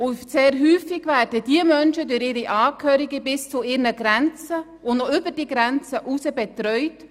Sehr oft werden diese Menschen durch ihre Angehörigen bis zu deren Grenzen und noch darüber hinaus betreut.